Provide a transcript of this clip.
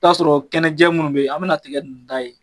I bɛ ta'a sɔrɔ kɛnɛjɛ minnu bɛ yen aw bɛna tiga ninnu da yen